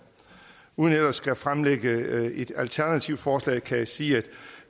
uden ellers at skulle fremlægge et alternativt forslag kan jeg sige at